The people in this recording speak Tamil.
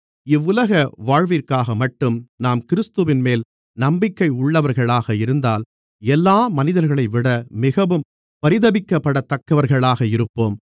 இவ்வுலக வாழ்விற்காகமட்டும் நாம் கிறிஸ்துவின்மேல் நம்பிக்கை உள்ளவர்களாக இருந்தால் எல்லா மனிதர்களையும்விட மிகவும் பரிதபிக்கப்படத்தக்கவர்களாக இருப்போம்